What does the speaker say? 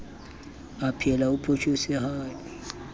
aphela o photjhotse ha e